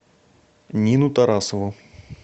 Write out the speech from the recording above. нину тарасову